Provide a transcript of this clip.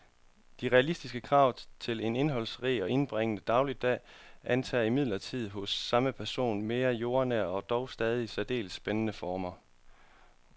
De realistiske krav til en indholdsrig og indbringende dagligdag antager imidlertid hos samme person mere jordnære og dog stadig særdeles spændende former.